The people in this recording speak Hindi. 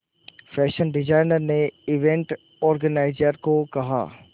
फैशन डिजाइनर ने इवेंट ऑर्गेनाइजर को कहा